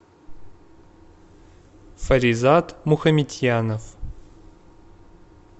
фаризат мухаметьянов